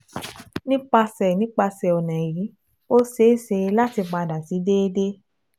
Nipasẹ Nipasẹ ọna yii, o ṣee ṣe lati pada si deede